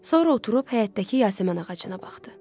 Sonra oturub həyətdəki Yasəmən ağacına baxdı.